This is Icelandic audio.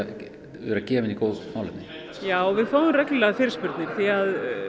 vera gefinn í góð málefni já við fáum reglulega fyrirspurnir því